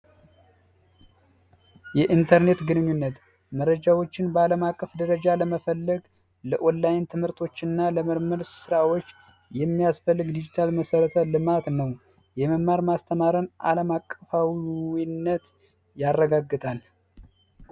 የኢንተርኔት ግንኙነት መረጃዎችን በአለም አቀፍ ደረጃ ለመፈለግ ለኦርቶዶክስና ለምርም ስራዎች የሚያስፈልግ ዲጂታል መሰረተ ልማት ነው የመማር ማስተማርን ዓለም አቀፋዊነት ያረጋግጣል